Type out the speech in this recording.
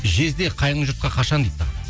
жезде қайын жұртқа қашан дейді саған